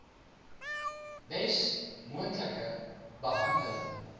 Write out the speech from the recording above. bes moontlike behandeling